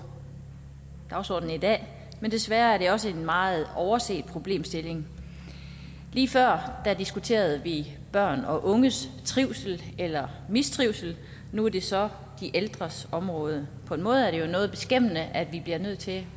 dagsordenen i dag men desværre er det også en meget overset problemstilling lige før diskuterede vi børn og unges trivsel eller mistrivsel og nu er det så de ældres område på en måde er det jo noget beskæmmende at vi bliver nødt til